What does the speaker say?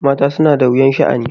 Mata suna da wuyan sha'ani.